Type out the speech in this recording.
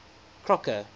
crocker